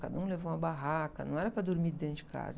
Cada um levou uma barraca, não era para dormir dentro de casa.